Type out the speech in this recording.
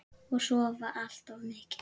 Og sofa allt of mikið.